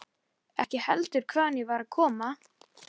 Ekki heldur hvaðan ég var að koma.